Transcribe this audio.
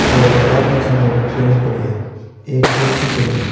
और आदमी के सामने एक पेन पड़ो है एक कैंची पड़ी है।